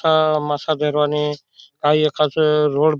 अ मासा पेरवानी काही एक असं रोड --